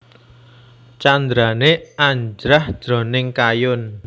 Candrané Anjrah jroning kayun